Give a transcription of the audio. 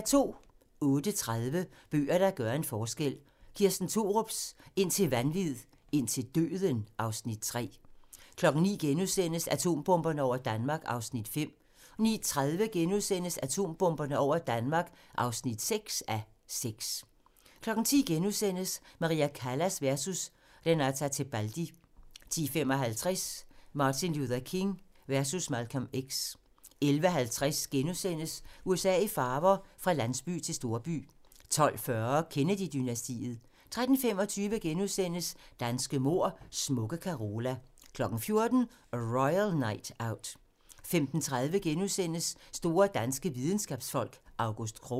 08:30: Bøger, der gør en forskel - Kirsten Thorups "Indtil vanvid, indtil døden" (Afs. 3) 09:00: Atombomberne over Danmark (5:6)* 09:30: Atombomberne over Danmark (6:6)* 10:00: Maria Callas versus Renata Tebaldi * 10:55: Martin Luther King versus Malcolm X 11:50: USA i farver - fra landsby til storby * 12:40: Kennedy-dynastiet 13:25: Danske mord: Smukke Carola * 14:00: A Royal Night Out 15:30: Store danske videnskabsfolk: August Krogh *